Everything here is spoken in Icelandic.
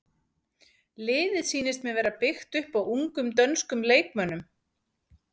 Liðið sýnist mér vera byggt upp á ungum dönskum leikmönnum.